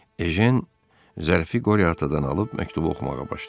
Ejen zərfi Qoryatadan alıb məktubu oxumağa başladı.